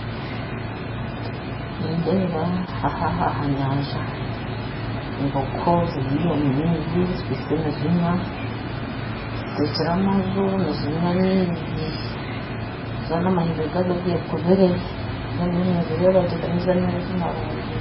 Nindeeba aha ah'anyanja embogo ziri omu maizi zikwitse nizinywa zitekire amazu nizinywa amaizi zoona amahembe gaazo gekubire mbwenu ndiyo ninzirebagye n'amaizi marungi.